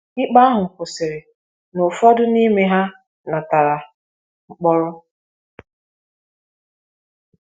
Ikpe ahụ kwụsịrị na ụfọdụ n’ime ha natara mkpọrọ.